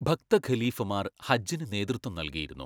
ഭക്തഖലീഫമാർ ഹജ്ജിന് നേതൃത്വം നൽകിയിരുന്നു.